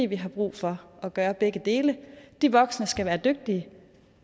vi har brug for at gøre begge dele de voksne skal være dygtige